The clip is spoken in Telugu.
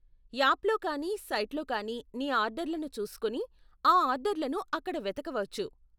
యాప్లో కానీ సైట్లో కానీ నీ ఆర్డర్లను చూసుకొని, ఆ ఆర్డర్లను అక్కడ వెతకవచ్చు.